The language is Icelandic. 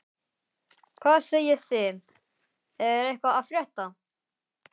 Hvað segið þið, er eitthvað að frétta?